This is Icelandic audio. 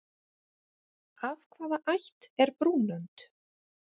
Af hvaða ætt er brúnönd?